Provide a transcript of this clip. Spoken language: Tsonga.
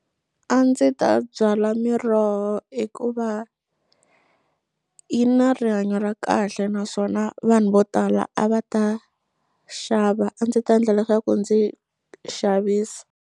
A ndzi ta byala miroho hikuva yi na rihanyo ra kahle naswona vanhu vo tala a va ta xava a ndzi ta ndla leswaku ndzi xavisa.